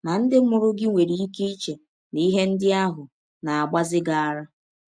Ma, ndị mụrụ gị nwere ike iche na ihe ndị ahụ na - agbazi gị ara.